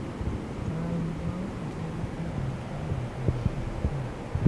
Chai ma oseted iolo e thamos mondo kik kwe